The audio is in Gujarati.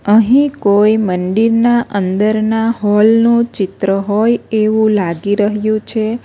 અહીં કોઈ મંદિરના અંદર ના હોલ નું ચિત્ર હોય એવું લાગી રહ્યું છે.